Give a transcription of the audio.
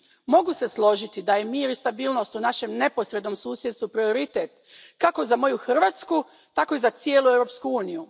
Mogu se složiti da je mir i stabilnost u našem neposrednom susjedstvu prioritet, kako za moju Hrvatsku, tako i za cijelu Europsku uniju.